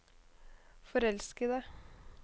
forelskede